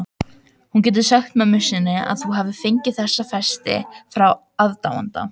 Þú getur sagt mömmu þinni að þú hafir fengið þessa festi frá aðdáanda.